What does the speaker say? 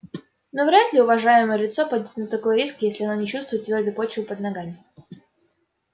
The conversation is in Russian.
ну вряд ли уважаемое лицо пойдёт на такой риск если оно не чувствует твёрдой почвы под ногами